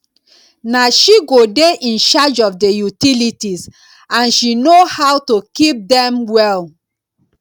na she go dey in charge of the utilities and she no how to keep dem well